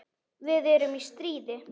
Við erum í stríði.